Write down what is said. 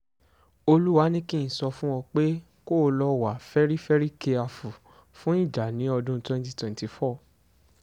olúwa ni kí n sọ fún ọ pé kó o lọ́ọ wá fẹ́rí fẹ́rí kiafu fún ìjà ní ọdún twenty twenty four